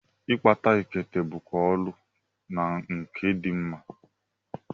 Ịkpa ekete bụkwa ọrụ nkà dị mma.